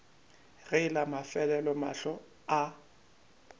ge la mafelelo mahlo a